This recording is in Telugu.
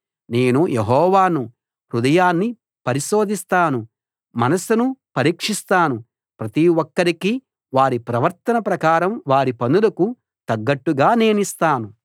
నేను యెహోవాను హృదయాన్ని పరిశోధిస్తాను మనసును పరీక్షిస్తాను ప్రతి ఒక్కరికీ వారి ప్రవర్తన ప్రకారం వారి పనులకు తగ్గట్టుగా నేనిస్తాను